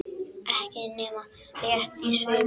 Ekki nema rétt í svip.